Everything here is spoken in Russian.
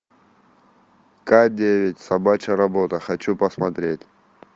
к девять собачья работа хочу посмотреть